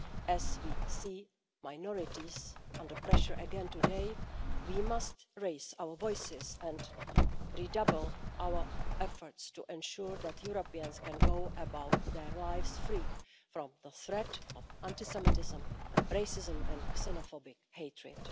As we see minorities under pressure again today, we must raise our voices and redouble our efforts to ensure that Europeans can go about their lives free from the threat of anti Semitism, racism and xenophobic hatred.